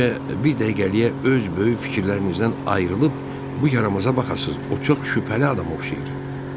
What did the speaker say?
Bəlkə bir dəqiqəliyə öz böyük fikirlərinizdən ayrılıb bu yaramaza baxasız, o çox şübhəli adamdır axı.